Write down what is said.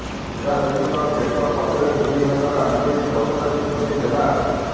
ସୁଧାଦେବୀଙ୍କ ବେକ ପଛରେ ଦୁଇହାତର ଆଙ୍ଗୁଳି ଦଶଟାକୁ ଛନ୍ଦି ଦେଲା